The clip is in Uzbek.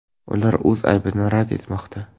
Ular o‘z aybini rad etmoqda.